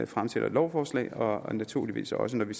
fremsætter lovforslag og naturligvis også når vi